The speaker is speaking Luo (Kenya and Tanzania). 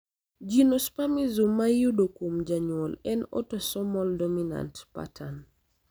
geniospasm ma iyudo kuom janyuol en autosomal dominant pattern.